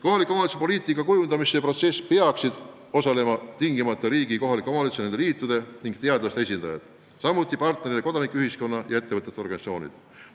Kohaliku omavalitsuse poliitika kujundamise protsessis peaksid tingimata osalema riigi ja kohaliku omavalitsuse ja nende liitude ning teadlaste esindajad, samuti partnerina kodanikuühiskonna ühendused ja ettevõtjate organisatsioonid.